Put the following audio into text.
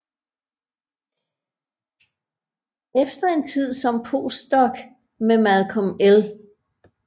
Efter en tid som postdoc med Malcolm L